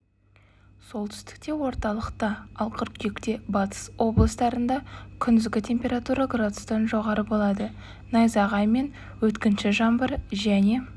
солтүстікте орталықта ал қыркүйекте батыс облыстарында күндізгі температура градустан жоғары болады найзағай мен өткінші жаңбыр және